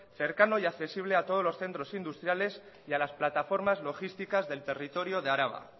cercano y accesible a todos los centros industriales y a las plataformas logísticas del territorio de araba